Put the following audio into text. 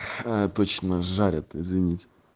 э точно жарят извините